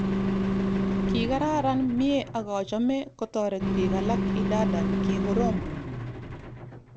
Ki kararan, mie akochome kotoret bik alak idadan ki korom